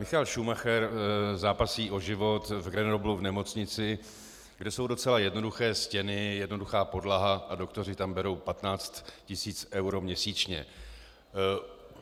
Michael Schumacher zápasí o život v Grenoblu v nemocnici, kde jsou docela jednoduché stěny, jednoduchá podlaha a doktoři tam berou 15 tisíc eur měsíčně.